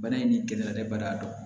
Bana in ni gɛlɛya bɛ bana dɔn